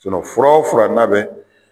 fura o fura n'a bɛ